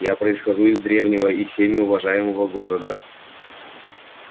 я происхожу из древнего и всеми уважаемого города